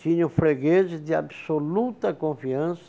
Tinha o freguês de de absoluta confiança